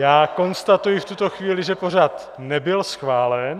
Já konstatuji v tuto chvíli, že pořad nebyl schválen.